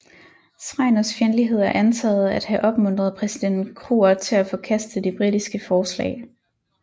Schreiners fjendtlighed er antaget at have opmuntret præsident Kruger til at forkaste de britiske forslag